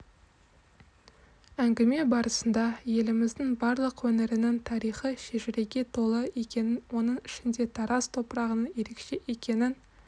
әңгіме барысында еліміздің барлық өңірінің тарихи шежіреге толы екенін оның ішінде тараз топырағының ерекше екенін